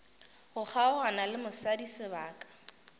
go kgaogana le mosadi sebaka